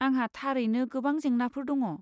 आंहा थारैनो गोबां जेंनाफोर दङ।